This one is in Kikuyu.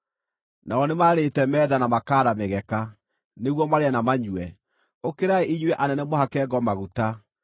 Nao nĩmaarĩte metha, na makaara mĩgeka, nĩguo marĩe na manyue! Ũkĩrai inyuĩ anene, mũhake ngo maguta!